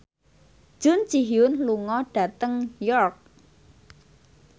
Jun Ji Hyun lunga dhateng York